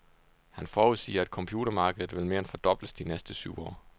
Han forudsiger, at computermarkedet vil mere end fordobles de næste syv år.